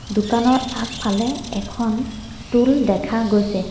দোকানৰ আগফালে এখন টুল দেখা গৈছে।